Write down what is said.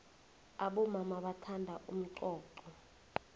abomama bathanda umxoxho